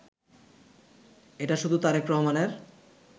এটা শুধু তারেক রহমানের